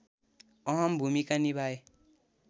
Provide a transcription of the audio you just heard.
अहम भूमिका निभाए